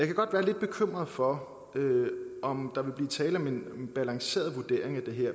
kan godt være lidt bekymret for om der vil blive tale om en balanceret vurdering af det her